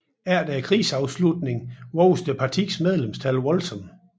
Efter krigsafslutningen voksede partiets medlemstal voldsomt